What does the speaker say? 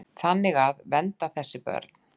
Þannig að. vernda þessi börn.